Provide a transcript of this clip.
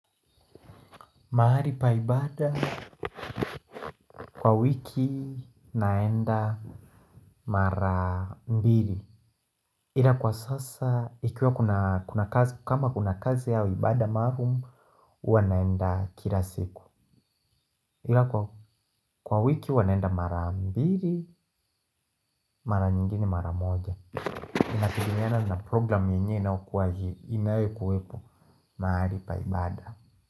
Mahali pa ibada kwa wiki naenda mara mbili. Ila kwa sasa, ikiwa kuna kazi, kama kuna kazi au, ibaada maalum, huwa naenda kila siku. Ila kwa wiki, huwa naenda mara mbili, mara nyingine mara moja. Inategemeana na programu yenye inayokuwa hili, inayokuwepo, mahali pa ibaada.